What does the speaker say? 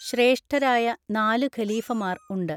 ശ്രേഷ്ഠരായ നാലു ഖലീഫമാർ ഉണ്ട്.